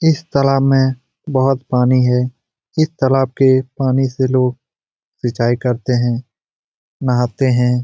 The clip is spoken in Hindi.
इस तालाब में बहुत पानी है इस तालाब के पानी से लोग सिंचाई करते हैं नहाते हैं।